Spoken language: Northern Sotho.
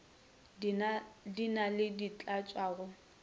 di na le dintlhatša go